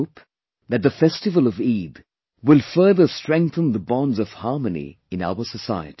I hope that the festival of Eid will further strengthen the bonds of harmony in our society